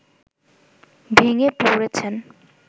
ভেঙ্গে পড়েছেন